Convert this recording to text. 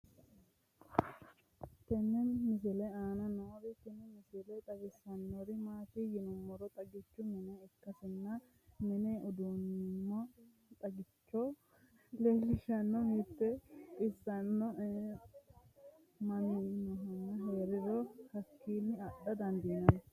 tenne misile aana noorina tini misile xawissannori maati yinummoro xaggichchu minne ikkasinna minne duunnamminno xaggichcho leelishshanno mitte xissonni mamadamminnohu heeriro haakkinni adha danidaannotta